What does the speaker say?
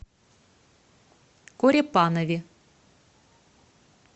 корепанове